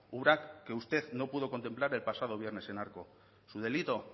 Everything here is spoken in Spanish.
obra que usted no pudo contemplar el pasado viernes en arco su delito